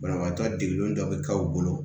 Banabaatɔ degelen dɔ bɛ k'aw bolo